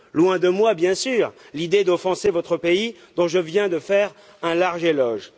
Loin de moi, bien sûr, l'idée d'offenser votre pays, dont je viens de faire un large éloge.